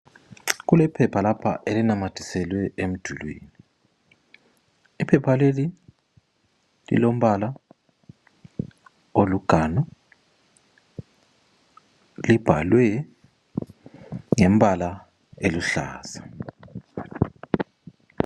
Kulephepha lapha elinamathiselwe emdulini. Iphepha leli lilombala oliganu, libhalwe ngembala eluhlaza.